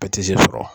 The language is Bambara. Ka sɔrɔ